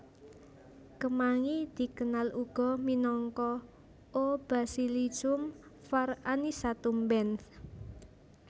Kemangi dikenal uga minangka O basilicum var anisatum Benth